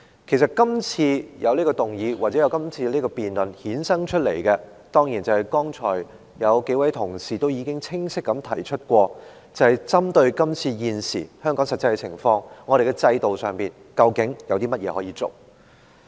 其實，這項議案或辯論衍生出來的——當然，正如剛才數位同事已清晰地提出——是針對現時香港的實際情況，我們在制度上究竟有甚麼可做。